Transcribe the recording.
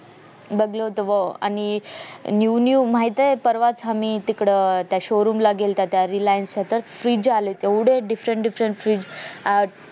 बघलं होत बुवा आणि new new माहितेय परवाच आम्ही तिकडं त्या showroom ला गेलो होतो त्या reliance च्या तर fridge आलेत एवढे different different fridge अह